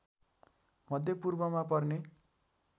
मध्यपूर्वमा पर्ने